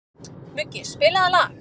Muggi, spilaðu lag.